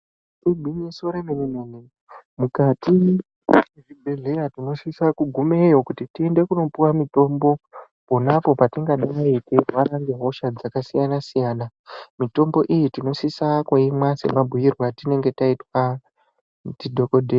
Igwinyiso remene mene mukati mwezvibhedhlera tinosise kugumeyo kuti tiende kundopuwe mitombo pona apo patingadai teirwara ngehosha dzakasiyana siyana mitombo iyi tinosise kuimwa semabhiyirwe atinenge taitwa ndidhokodheya.